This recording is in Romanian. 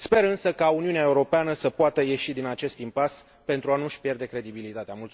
Sper însă ca Uniunea Europeană să poată ieși din acest impas, pentru a nu și pierde credibilitatea.